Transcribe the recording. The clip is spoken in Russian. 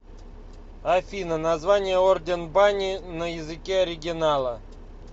афина название орден бани на языке оригинала